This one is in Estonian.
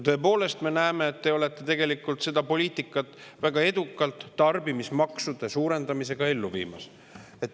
Ja me näeme, et te olete tegelikult seda poliitikat väga edukalt tarbimismaksude suurendamisega ellu viimas.